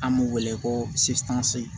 An b'u wele ko cissekansi